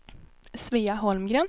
Svea Holmgren